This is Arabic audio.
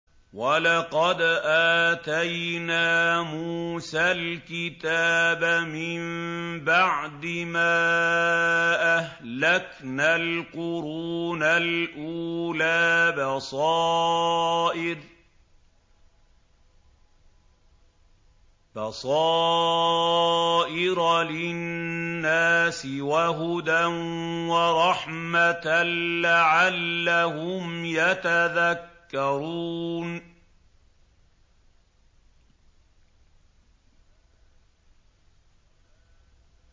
وَلَقَدْ آتَيْنَا مُوسَى الْكِتَابَ مِن بَعْدِ مَا أَهْلَكْنَا الْقُرُونَ الْأُولَىٰ بَصَائِرَ لِلنَّاسِ وَهُدًى وَرَحْمَةً لَّعَلَّهُمْ يَتَذَكَّرُونَ